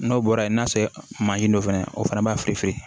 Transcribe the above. N'o bɔra yen n'a sɔrɔ mansin dɔ fana o fana b'a firife